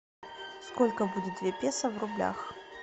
сколько будет две песо в рублях